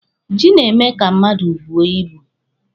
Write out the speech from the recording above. Ji na-eme ka mmadụ buo ibu.